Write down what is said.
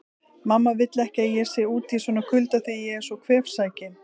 Mamma vill ekki að ég sé úti í svona kulda því ég er svo kvefsækinn